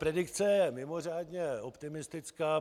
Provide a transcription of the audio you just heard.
Predikce je mimořádně optimistická.